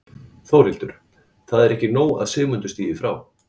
Þórhildur: Það er ekki nóg að Sigmundur stígi frá?